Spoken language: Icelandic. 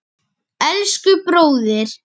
Elsku bróðir.